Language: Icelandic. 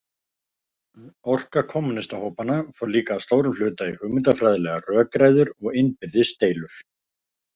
Orka kommúnistahópanna fór líka að stórum hluta í hugmyndafræðilegar rökræður og innbyrðis deilur.